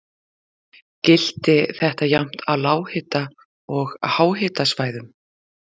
Gilti þetta jafnt á lághita- og háhitasvæðum.